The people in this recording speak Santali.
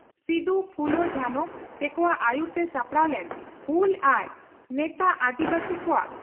ᱥᱤᱫᱩ ᱯᱷᱩᱞᱚ ᱡᱷᱟᱱᱚ ᱛᱮᱠᱚᱣᱟᱜ ᱟᱹᱭᱩᱨᱛᱮ ᱥᱟᱯᱲᱟᱣ ᱞᱮᱱ ᱦᱩᱞ ᱟᱨ ᱱᱮᱛᱟᱜ ᱟᱹᱫᱤᱵᱟᱹᱥᱤ ᱠᱚᱣᱟᱜ ᱦᱟᱥᱟ